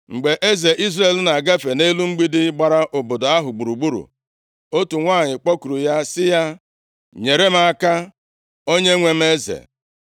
Mgbe eze Izrel na-agafe nʼelu mgbidi gbara obodo ahụ gburugburu, otu nwanyị kpọkuru ya sị ya, “Nyere m aka, onyenwe m eze.”